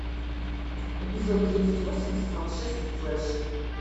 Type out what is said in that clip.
эпизод тридцать восемь сезон шесть флеш